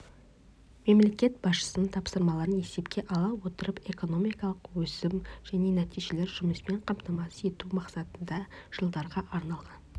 мемлекет басшысының тапсырмаларын есепке ала отырып экономикалық өсім және нәтижелі жұмыспен қамтамасыз ету мақсатында жылдарға арналған